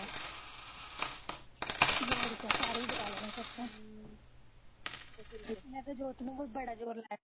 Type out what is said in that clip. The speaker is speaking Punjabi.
ਹੋਰ ਕਿਆ ਸਾਰੇ ਈ ਬਲਾਂ ਲੈਣੇ ਫਿਰ ਤਾਂ ਮੈਂ ਤਾਂ ਜੋਤ ਨੂੰ ਵੀ ਬੜਾ ਜ਼ੋਰ ਲਾਇਆ ਤੂੰ